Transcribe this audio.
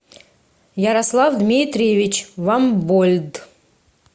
ярослав дмитриевич вамбольд